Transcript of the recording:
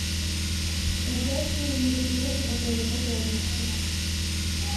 торжественные мероприятия в отеле подробности